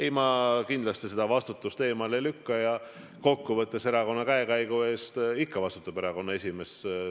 Ei, ma kindlasti seda vastutust eemale ei lükka ja kokku võttes vastutab erakonna käekäigu eest ikka erakonna esimees.